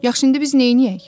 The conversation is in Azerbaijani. Yaxşı, indi biz neyləyək?